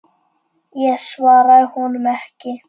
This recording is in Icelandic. Ég svaraði honum ekki.